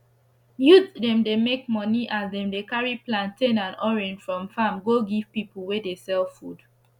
youth dem dey make moni as dem dey carri plantain and orange from farm go give pipu wey dey sell food